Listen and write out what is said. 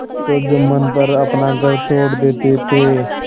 तो जुम्मन पर अपना घर छोड़ देते थे